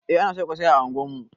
Eh ana soya ƙosai a unguwar mu